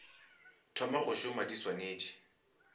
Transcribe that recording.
thoma go šoma di swanetše